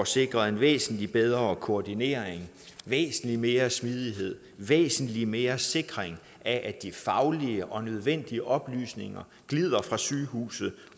sikret en væsentlig bedre koordinering væsentlig mere smidighed væsentlig mere sikring af at de faglige og nødvendige oplysninger glider fra sygehuset